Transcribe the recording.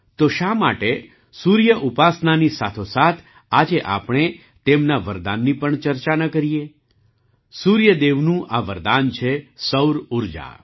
તો શા માટે સૂર્ય ઉપાસનાની સાથોસાથ આજે આપણે તેમના વરદાનની પણ ચર્ચા ન કરીએ સૂર્ય દેવનું આ વરદાન છે સૌર ઊર્જા